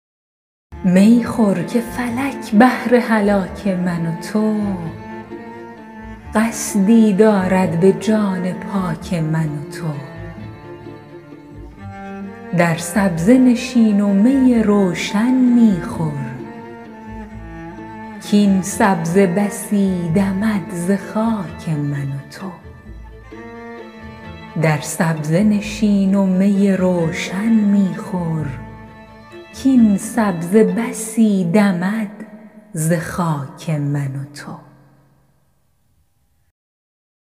می خور که فلک بهر هلاک من و تو قصدی دارد به جان پاک من و تو در سبزه نشین و می روشن می خور کاین سبزه بسی دمد ز خاک من و تو